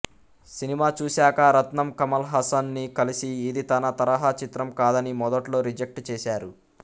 cinema చూశాకా రత్నం కమల్ హాసన్ ని కలిసి ఇది తన తరహా చిత్రం కాదని మొదట్లో రిజెక్ట్ చేశారు